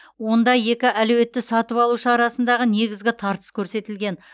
онда екі әлеуетті сатып алушы арасындағы негізгі тартыс көрсетілген